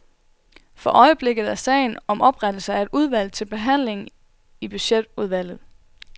For øjeblikket er sagen om oprettelse af et udvalg til behandling i budgetudvalget.